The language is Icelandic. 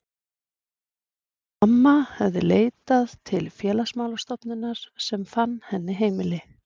Mamma hafði leitað til Félagsmála stofnunar sem fann henni heimili.